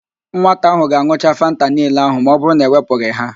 Nwata ahụ ga-an̄ucha Fanta niile ahụ ma ọbụrụ na e wepụghị ha